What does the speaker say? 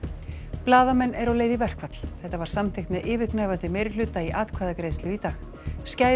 blaðamenn eru á leið í verkfall þetta var samþykkt með yfirgnæfandi meirihluta í atkvæðagreiðslu í dag